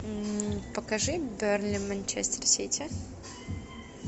покажи бернли манчестер сити